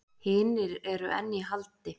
Hinir eru enn í haldi